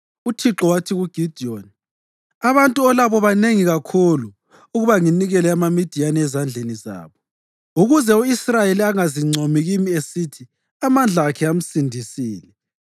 UThixo wathi kuGidiyoni, “Abantu olabo banengi kakhulu ukuba nginikele amaMidiyani ezandleni zabo. Ukuze u-Israyeli angazincomi kimi esithi amandla akhe amsindisile,